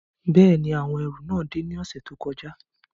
Bẹ́ẹ̀ni, awọn ẹru náà de ni ọsẹ to kọja